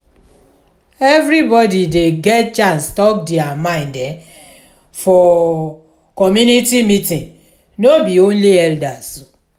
everybodi dey get chance tok their mind for community meeting no be only elders.